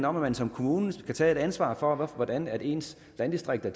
om at man som kommune skal tage et ansvar for hvordan ens landdistrikter